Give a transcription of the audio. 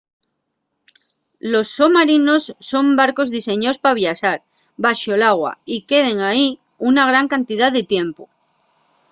los somarinos son barcos diseñaos pa viaxar baxo l’agua y queden ehí una gran cantidá de tiempu